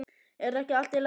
Er ekki allt í lagi vinur?